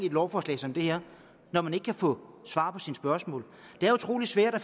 lovforslag som det her når man ikke kan få svar på sine spørgsmål det er utrolig svært at